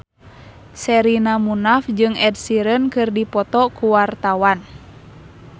Sherina Munaf jeung Ed Sheeran keur dipoto ku wartawan